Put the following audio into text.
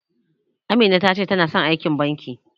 Amina ta ce tana son aiki a banki.